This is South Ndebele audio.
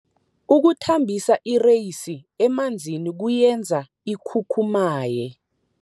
Ukuthambisa ireyisi emanzini kuyenza ikhukhumaye.